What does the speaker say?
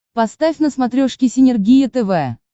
поставь на смотрешке синергия тв